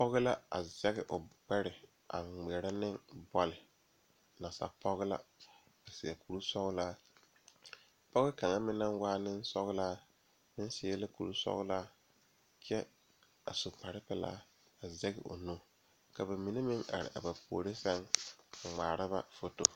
Pɔgeba a zage o are ka bamine zeŋ ka gangaare biŋ kaŋa zaa toɔ puli kyɛ ka ba zage ba nuure kaa do saa kyɛ ka ba gbɛɛ meŋ gaa.